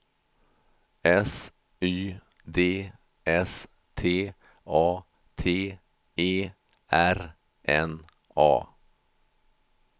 S Y D S T A T E R N A